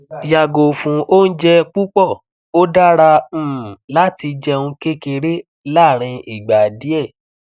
yago fun ounjẹ pupọ̀ o dara um lati jẹun kekere larin igba diẹ̀